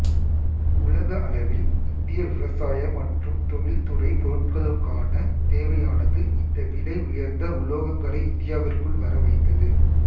உலக அளவில் இந்திய விவசாய மற்றும் தொழில்துறை பொருட்களுக்கான தேவையானது இந்த விலை உயர்ந்த உலோகங்களை இந்தியாவிற்குள் வர வைத்தது